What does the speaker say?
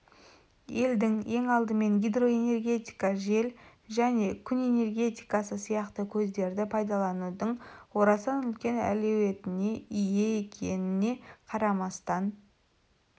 елдің ең алдымен гидроэнергетика жел және күн энергетикасы сияқты көздерді пайдаланудың орасан үлкен әлеуетіне ие екеніне қарамастан